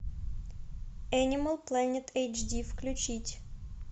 энимал плэнет эйч ди включить